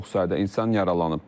Çox sayda insan yaralanıb.